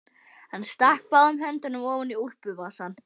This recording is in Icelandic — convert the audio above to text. Hann stakk báðum höndum ofan í úlpuvasana.